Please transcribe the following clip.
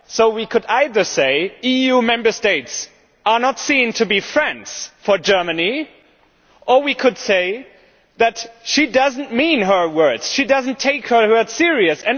We could either say that EU Member States are not seen to be friends for Germany, or we could say that she does not mean her words that she does not take her words seriously.